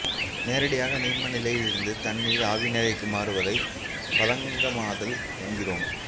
நேரடியாக நீர்மநிலையிலிருந்து தண்ணீர் ஆவி நிலைக்கு மாறுவதை பதங்கமாதல் என்கிறோம்